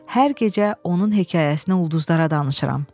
Hər gecə onun hekayəsinə ulduzlara danışıram.